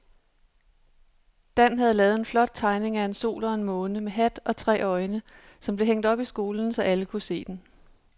Dan havde lavet en flot tegning af en sol og en måne med hat og tre øjne, som blev hængt op i skolen, så alle kunne se den.